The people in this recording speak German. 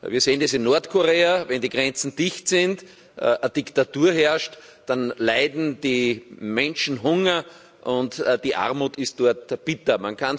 Wir sehen das in Nordkorea Wenn die Grenzen dicht sind, Diktatur herrscht, dann leiden die Menschen Hunger und die Armut ist dort bitter.